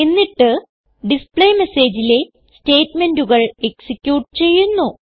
എന്നിട്ട് displayMessageലെ സ്റ്റേറ്റ്മെന്റുകൾ എക്സിക്യൂട്ട് ചെയ്യുന്നു